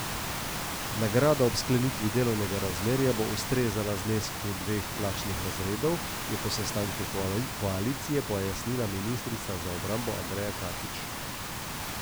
Nagrada ob sklenitvi delovnega razmerja bo ustrezala znesku dveh plačnih razredov, je po sestanku koalicije pojasnila ministrica za obrambo Andreja Katič.